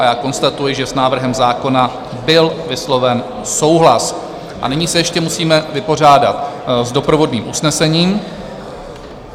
A já konstatuji, že s návrhem zákona byl vysloven souhlas, a nyní se ještě musíme vypořádat s doprovodným usnesením.